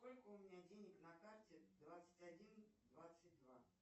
сколько у меня денег на карте двадцать один двадцать два